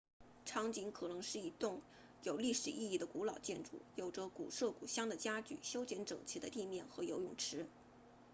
场景可能是一栋有历史意义的古老建筑有着古色古香的家具修剪整齐的地面和游泳池